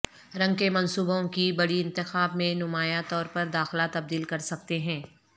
رنگ کے منصوبوں کی بڑی انتخاب میں نمایاں طور پر داخلہ تبدیل کر سکتے ہیں